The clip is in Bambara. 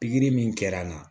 Pikiri min kɛra n na